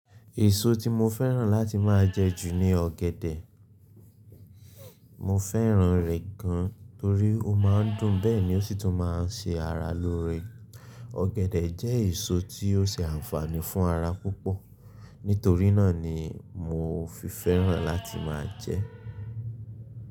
Èso tí mo fẹ́ràn láti máa jẹ jù ni ọ̀gẹ̀dẹ̀. Mo fẹ́ràn rẹ̀ gan torí ó máa ń dùn, bẹ́ẹ̀ ni ó sì tún máa ń ṣe ara lóore. Ọ̀gẹ̀dẹ̀ jẹ́ èso tí ó ṣe àǹfààní fún ara púpọ̀. Nítorí náà ni mo fi fẹ́ràn láti máa jẹ ẹ́